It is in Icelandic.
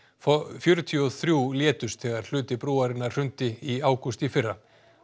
fjörutíu og þrjú létust þegar hluti brúarinnar hrundi í ágúst í fyrra